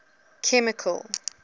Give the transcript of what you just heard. chemical